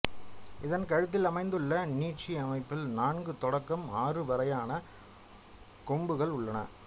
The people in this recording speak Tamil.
இதன் கழுத்தில் அமைந்துள்ள நீட்சி அமைப்பில் நான்கு தொடக்கம் ஆறு வரையான கொம்புகள் உள்ளன